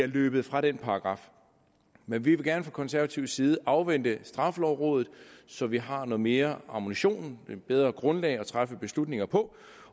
løbet fra den paragraf men vi vil gerne fra konservativ side afvente straffelovrådet så vi har noget mere ammunition et bedre grundlag at træffe beslutninger på